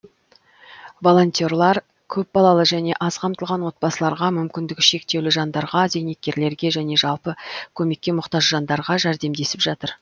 волонтерлар көпбалалы және аз қамтылған отбасыларға мүмкіндігі шектеулі жандарға зейнеткерлерге және жалпы көмекке мұқтаж жандарға жәрдемдесіп жатыр